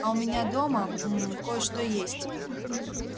а у меня дома мм кое-что есть